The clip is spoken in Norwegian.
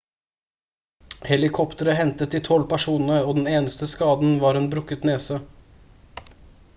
helikoptre hentet de 12 personene og den eneste skaden var en brukket nese